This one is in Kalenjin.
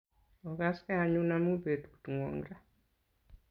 Ogaskei anyun amun petut ng'wong' ra.